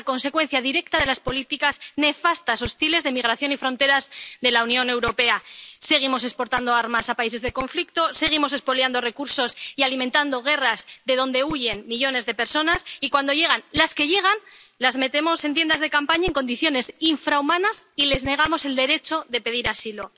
Es la consecuencia directa de las políticas nefastas, hostiles, de migración y fronteras de la Unión Europea. Seguimos exportando armas a países de conflicto, seguimos expoliando recursos y alimentando guerras de donde huyen millones de personas y, cuando llegan —las que llegan—, las metemos en tiendas de campaña en condiciones infrahumanas y les negamos el derecho de pedir asilo.